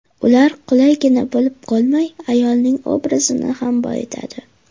Ular qulaygina bo‘lib qolmay, ayolning obrazini ham boyitadi.